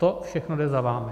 To všechno jde za vámi.